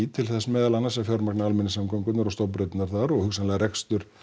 til þess meðal annars að fjármagna almenningssamgöngurnar og stofnbraautirnar þar og hugsanlega rekstur